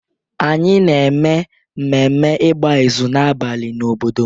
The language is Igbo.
anyị na-eme ememme igba ịzụ n'abalị n'obodo m